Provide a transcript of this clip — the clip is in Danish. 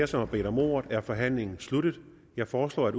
som har bedt om ordet er forhandlingen sluttet jeg foreslår at